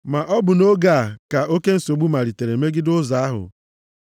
Ma ọ bụ nʼoge a ka oke nsogbu malitere megide Ụzọ ahụ.